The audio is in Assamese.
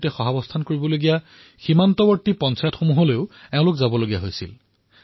এই বিষয়াসকলে ক্ৰছ ফায়াৰিং হৈ থকা পঞ্চায়তসমূহলৈও গৈছিল